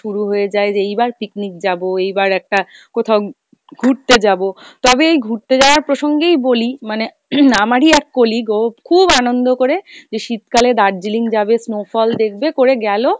শুরু হয়ে যায় যে এইবার picnic যাবো, এইবার একটা কোথাও ঘুরতে যাবো, তবে এই ঘুড়তে যাওয়ার প্রসঙ্গেই বলি, মানে আমারই এক colleague ও খুব আনন্দ কোরে যে শীতকালে দার্জিলিং যাবে, snowfall দেখবে করে গেলো